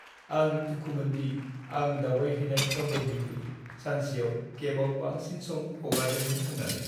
आं दुखुमोन दि आं दावबायहैनाय दन्दरनिख्रुइ सानसेयाव केबाव बांसिन सम हगारदोंमोन होन्नानै।